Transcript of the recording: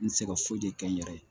N tɛ se ka foyi de kɛ n yɛrɛ ye